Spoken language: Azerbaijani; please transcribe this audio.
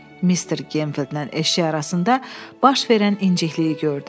Mister Gemfildlə eşşək arasında baş verən incikliyi gördü.